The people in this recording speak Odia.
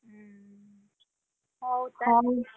ହୁଁ, ହଉ ତାହେଲେ